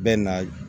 Bɛ na